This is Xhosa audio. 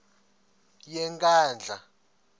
yenkandla